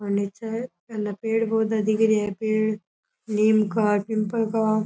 और निचे घाना पेड़ पौधे दिख रेया है पेड़ निम का पीपल का।